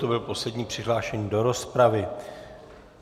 To byl poslední přihlášený do rozpravy.